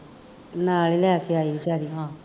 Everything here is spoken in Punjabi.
ਨਾਲ ਹੀ ਲੈ ਕੇ ਆਈ ਬੇਚਾਰੀ